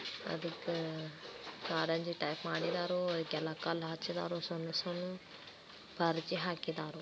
ಅದುಕ್ಕ ಕಾರಂಜಿ ಟೈಪ್ ಮಾಡಿದ್ದಾರೋ ಅದಕ್ಕೆಲ್ಲ ಕಲ್ಲ್ ಹಚ್ಚಿದ್ದಾರೋ ಸಣ್ಣ್ ಸಣ್ಣಾವ್ ಕಾರಂಜಿ ಹಾಕಿದ್ದಾರೋ--